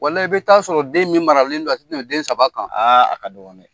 i bɛ taa sɔrɔ den min maralen do a tɛ tɛmɛ den saba kan a ka dɔgɔ dɛ.